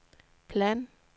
plan